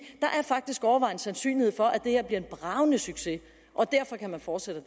er faktisk overvejende sandsynlighed for at det her bliver en bragende succes og derfor kan man fortsætte